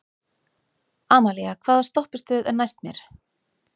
Amalía, hvaða stoppistöð er næst mér?